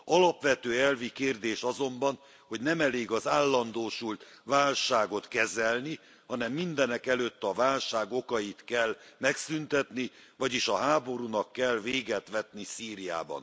Alapvető elvi kérdés azonban, hogy nem elég az állandósult válságot kezelni, hanem mindenekelőtt a válság okait kell megszüntetni, vagyis a háborúnak kell véget vetni Szíriában.